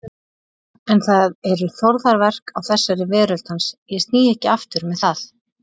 Þar þurfum við helst að bæta í.